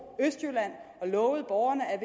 og lovede borgerne at